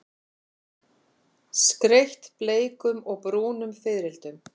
Skreytt bleikum og brúnum fiðrildum.